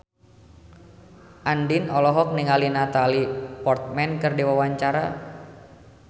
Andien olohok ningali Natalie Portman keur diwawancara